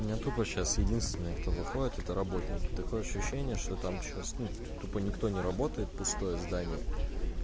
у меня тупо сейчас единственное кто выходит это работники такое ощущение что там сейчас ну тупо никто не работает пустое здание